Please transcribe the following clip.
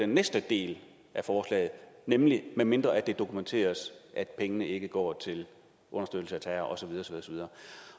næste del af forslaget nemlig medmindre det dokumenteres at pengene ikke går til understøttelse af terror